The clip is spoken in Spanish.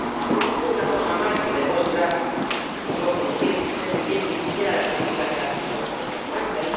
Dijo usted una cosa más, que demuestra que no entiende usted muy bien ni siquiera la política que la Comisión ha puesto en marcha.